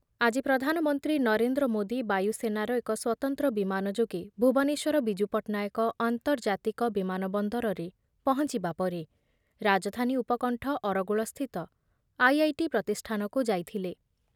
ଆଜି ପ୍ରଧାନମନ୍ତ୍ରୀ ନରେନ୍ଦ୍ର ମୋଦି ବାୟୁସେନାର ଏକ ସ୍ୱତନ୍ତ୍ର ବିମାନ ଯୋଗେ ଭୁବନେଶ୍ଵର ବିଜୁ ପଟ୍ଟନାୟକ ଆନ୍ତର୍ଜାତିକ ବିମାନ ବନ୍ଦରରେ ପହଞ୍ଚିବା ପରେ ରାଜଧାନୀ ଉପକଣ୍ଠ ଅରଗୁଳସ୍ଥିତ ଆଇ ଆଇ ଟି ପ୍ରତିଷ୍ଠାନକୁ ଯାଇଥିଲେ।